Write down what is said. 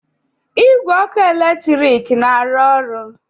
Igwe ọkụ eletrik na-arụ ọrụ?